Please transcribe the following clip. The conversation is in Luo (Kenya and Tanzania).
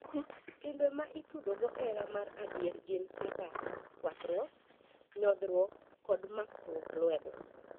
Timbe ma itudogo hera ma adier gin kaka kuakruak, nyodhruok, kod makruok lwedo.